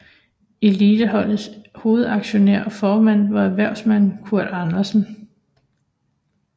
Eliteholdets hovedaktionær og formand var erhvervsmanden Kurt Andersen